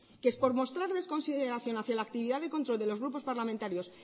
que es por mostrarles consideración hacia la actividad de control de los grupos parlamentarios